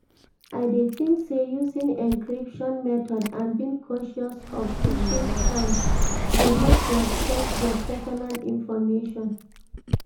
I dey think say using encryption method and being cautious of phishing scams dey help protect your pesinal information.